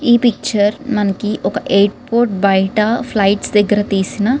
ఈ పిక్చర్ మనకి ఒక ఎయిర్‌పోర్ట్ బయట ఫ్లైట్స్ దగ్గర తీసిన --